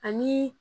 Ani